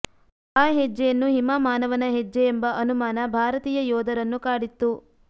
ಆ ಹೆಜ್ಜೆಯನ್ನು ಹಿಮಾಮಾನವನ ಹೆಜ್ಜೆ ಎಂಬ ಅನುಮಾನ ಭಾರತೀಯ ಯೋಧರನ್ನು ಕಾಡಿತ್ತು